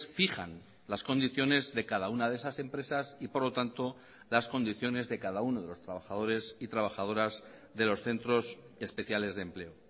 fijan las condiciones de cada una de esas empresas y por lo tanto las condiciones de cada uno de los trabajadores y trabajadoras de los centros especiales de empleo